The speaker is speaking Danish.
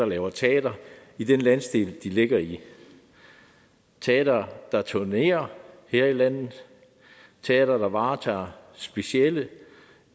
laver teater i den landsdel de ligger i teatre der turnerer her i landet teatre der varetager specialer